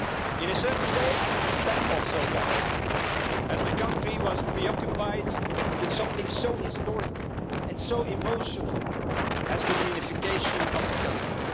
so. In a certain way I understand too what happened, as the country was preoccupied with something so historical and so emotional as the reunification of the country.